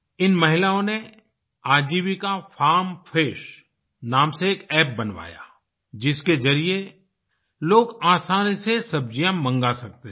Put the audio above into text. इन महिलाओं ने आजीविका फार्म फ्रेश नाम से एक अप्प बनवाया जिसके जरिए लोग आसानी से सब्जियाँ मंगा सकते थे